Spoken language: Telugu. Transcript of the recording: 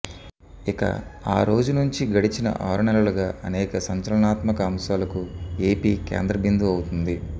ఇక ఆరోజు నుంచి గడచిన ఆరు నెలలుగా అనేక సంచలనాత్మక అంశాలకు ఏపీ కేంద్ర బిందువు అవుతోంది